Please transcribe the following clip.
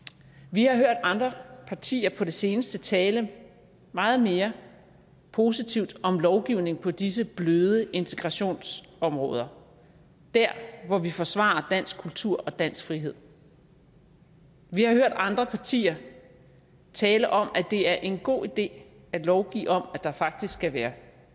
vi har hørt andre partier på det seneste tale meget mere positivt om lovgivning på disse bløde integrationsområder dér hvor vi forsvarer dansk kultur og dansk frihed vi har hørt andre partier tale om at det er en god idé at lovgive om at der faktisk skal være